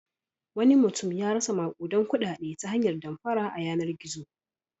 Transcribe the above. Wani mutum ya rasa maƙudan kuɗaɗe ta hanyar damfara a yanar-gizo.